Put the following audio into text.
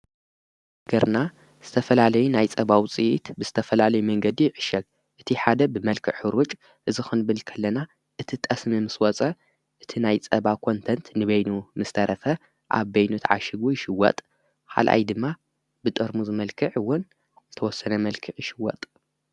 ነገርና ዝተፈላለይ ናይ ጸባውፂት ብዝተፈላለይ መንገዲ ይዕሸግ እቲ ሓደ ብመልክዕ ሕሩጭ እዝኽንብልከለና እቲ ጠስሚ ምስ ወፀ እቲ ናይ ጸባ ኾንተንት ንበይኑ ምስ ተረፈ ኣብ በይኑ ት ዓሽጉ ይሽወጥ ሓልኣይ ድማ ብጠርሙ ዝመልክዕውን ዝተወሰነ መልክዕ ይሽወጥ።